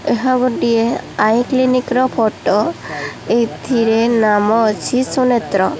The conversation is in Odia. ଏହା ଗୋଟିଏ ଆଇ କ୍ଲିନିକ୍ ର ଫଟୋ ଏଥିରେ ନାମ ଅଛି ସୁନେତ୍ର।